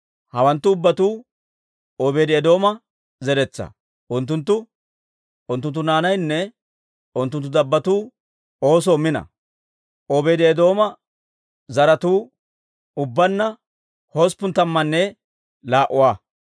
Hawanttu ubbatuu Obeedi-Eedooma zeretsaa; unttunttu, unttunttu naanaynne unttunttu dabbotuu oosoo mino. Obeedi-Eedooma zaratuu ubbaanna usuppun tammanne laa"a.